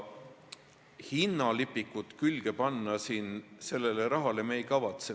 Hinnalipikut me sellele rahale külge panna ei kavatse.